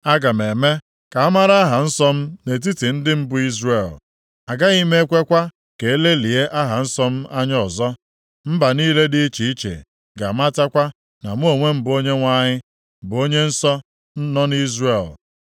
“ ‘Aga m eme ka amara aha nsọ m nʼetiti ndị m bụ Izrel. Agaghị m ekwekwa ka e lelịa aha nsọ m anya ọzọ. + 39:7 Mee ka ọ ghara ịdị nsọ ọzọ Mba niile dị iche iche ga-amatakwa na mụ onwe m bụ Onyenwe anyị, bụ Onye nsọ nọ nʼIzrel.